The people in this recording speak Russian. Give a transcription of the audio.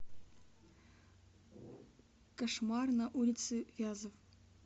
кошмар на улице вязов